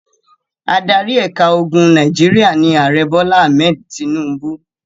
Adarí ẹ̀ka ogun Nàìjíríà ni Ààrẹ Bọ́lá Ahmed Tinubu.